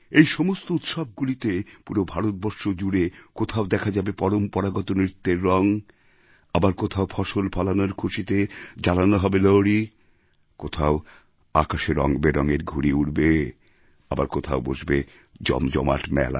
এই সমস্ত উৎসবগুলিতে পুরো ভারতবর্ষ জুড়ে কোথাও দেখা যাবে পরম্পরাগত নৃত্যের রঙ আবার কোথাও ফসল ফলানোর খুশিতে জ্বালানো হবে লোহড়ী কোথাও আকাশে রঙ বেরঙের ঘুড়ি উড়বে আবার কোথাও বসবে জমজমাট মেলা